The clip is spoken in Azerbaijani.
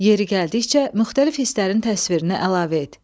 Yeri gəldikcə müxtəlif hisslərin təsvirini əlavə et.